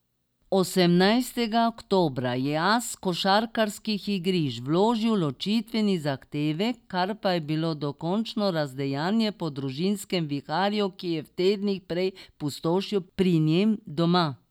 Osemnajstega oktobra je as košarkarskih igrišč vložil ločitveni zahtevek, kar pa je bilo le dokončno razdejanje po družinskem viharju, ki je v tednih prej pustošil pri njem doma.